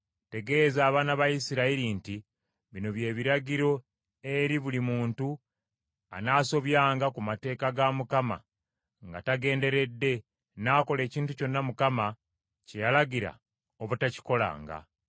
“Tegeeza abaana ba Isirayiri nti: ‘Bino bye biragiro eri buli muntu anaasobyanga ku mateeka ga Mukama nga tagenderedde, n’akola ekintu kyonna Mukama kye yalagira obutakikolanga.